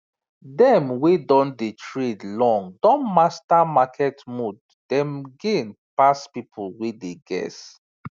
dem wey don dey trade long don master market mood dem gain pass people wey dey guess